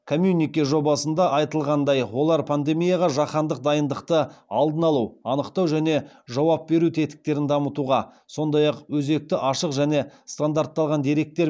коммюнике жобасында айтылғандай олар пандемияға жаһандық дайындықты алдын алу анықтау және жауап беру тетіктерін дамытуға сондай ақ өзекті ашық және стандартталған деректер